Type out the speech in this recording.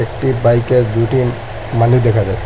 একটি বাইকের দুইটি মানুষ দেখা যায়।